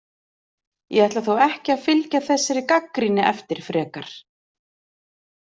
Ég ætla þó ekki að fylgja þessari gagnrýni eftir frekar.